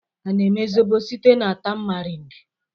A na-eme zobo site na tamarind?